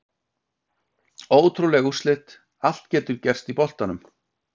Ótrúleg úrslit, allt getur gerst í boltanum!